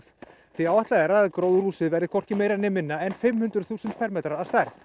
því áætlað er að gróðurhúsið verði hvorki meira né minna en fimm hundruð þúsund fermetrar að stærð